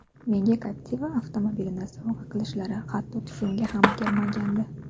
Menga Captiva avtomobilini sovg‘a qilishlari hatto tushimga ham kirmagandi.